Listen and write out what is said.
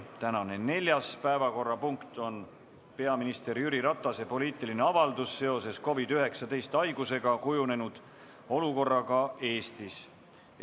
Tänane neljas päevakorrapunkt on peaminister Jüri Ratase poliitiline avaldus seoses COVID‑19 haigusega kujunenud olukorraga Eestis.